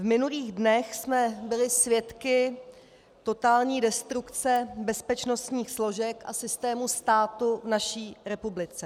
V minulých dnech jsme byli svědky totální destrukce bezpečnostních složek a systému státu v naší republice.